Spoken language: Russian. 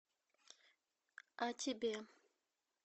а тебе